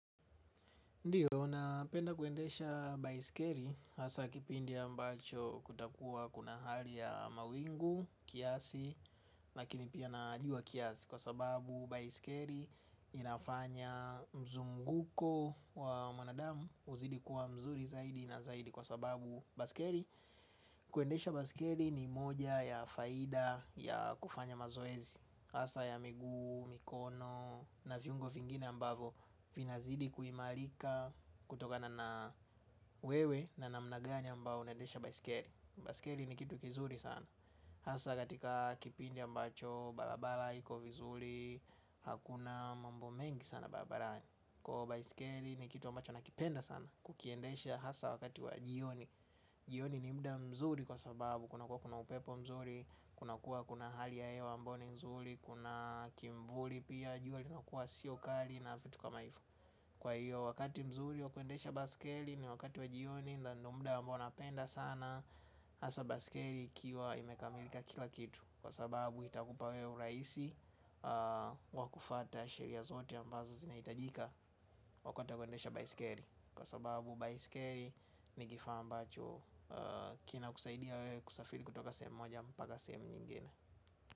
Ndio, napenda kuendesha baiskeli hasaa kipindi ambacho kutakuwa kuna hali ya mawingu, kiasi, lakini pia na jua kiasi kwa sababu baiskeli inafanya mzunguko wa damu uzidi kuwa mzuri zaidi na zaidi kwa sababu baiskeli. Kuendesha baiskeli ni moja ya faida ya kufanya mazoezi hasaa ya miguu, mikono na viungo vingine ambavyo vinazidi kuimarika kutoka na na wewe na namna gani ambayo unaendesha baiskeli. Baiskelii ni kitu kizuri sana hasa katika kipindi ambacho barabara iko vizuri. Hakuna mambo mengi sana babarani. Kwa baisikeli ni kitu ambacho nakipenda sana. Kukiendesha hasa wakati wa jioni. Jioni ni muda mzuri kwa sababu kunakuwa kuna upepo mzuri. Kuna kuwa kuna hali ya hewa ambayo ni nzuri. Kuna kimvuli pia jua linakuwa sio kali na vitu kama hivyo. Kwa hiyo wakati mzuri wa kwendesha baiskeli. Ni wakati wa jioni na ni muda ambao napenda sana hasa baiskeli ikiwa imekamilika kila kitu. Kwa sababu itakupa wewe urahisi wakufuata sheria zote ambazo zinahitajika wa kutaka kuendesha baiskeli. Kwa sababu baiskeli ni kifaa ambacho kinakusaidia wewe kusafiri kutoka sehemu moja mpaka sehemu nyingine.